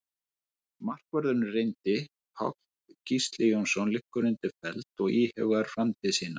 Markvörðurinn reyndi Páll Gísli Jónsson liggur undir feld og íhugar framtíð sína.